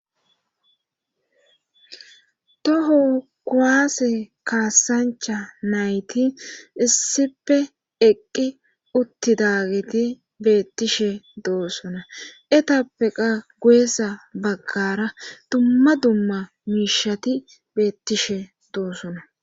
toho kuwaase kaasancha nayti issipe eqqi utti daageti beettishe doossona etappeqa guyessa baggara dumma dumma miishati beettishe doosona